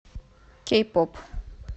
кей поп